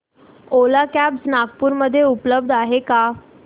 ओला cabs Nagpur मध्ये उपलब्ध आहे का